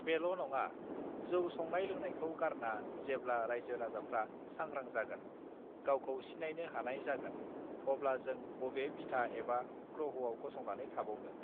बेल नङा जौ संनाय लोंनायखौ गारना जेब्ला रायजो राजाफ्रा सांग्रां जागोन गावखौ सिनायनो हानाय जागोन अब्ला जों बबे बिथा एबा ग्रहआव गसंनानै थाबावनो